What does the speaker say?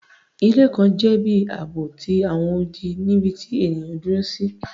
Ilé kan jẹ ibi aabo ti awọn odi nibiti eniyan duro si